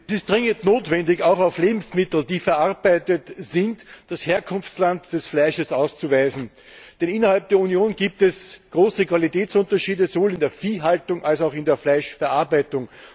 Herr Präsident! Es ist dringend notwendig, auch auf Lebensmitteln, die verarbeitet sind, das Herkunftsland des Fleisches auszuweisen, denn innerhalb der Union gibt es große Qualitätsunterschiede, sowohl in der Viehhaltung als auch in der Fleischverarbeitung.